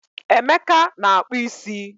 Emeka na-akpụ isi